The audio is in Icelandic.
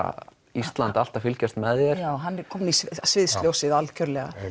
Ísland allt að fylgjast með þér já hann er kominn í sviðsljósið algjörlega